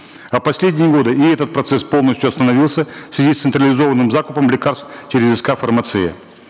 а в последние годы и этот процесс полностью остановился в связи с централизованным закупом лекарств через ск фармация